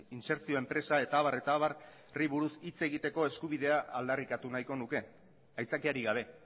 insertzio enpresa eta abarri buruz hitz egiteko eskubidea aldarrikatu nahiko nuke aitzakiarik gabe